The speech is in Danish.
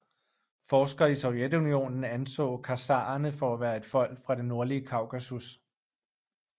Forskere i Sovjetunionen anså khazarerne for at være et folk fra det nordlige Kaukasus